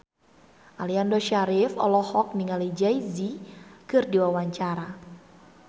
Aliando Syarif olohok ningali Jay Z keur diwawancara